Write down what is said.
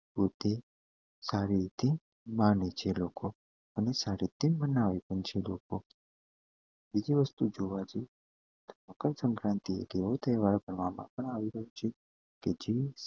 પોતે સારી રીતે માને છે લોકો અને સારી રીતે મનાવે પણ છે લોકો બીજી વસ્તુ જોવા જઈએ મકર સંક્રાંતિ એક એવો તહેવાર એવી રાયો છે કે જે